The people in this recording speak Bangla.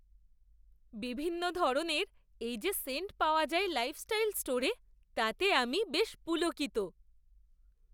বিভিন্ন ধরনের এই যে সেন্ট পাওয়া যায় লাইফস্টাইল স্টোরে তাতে আমি বেশ পুলকিত!